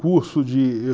Curso de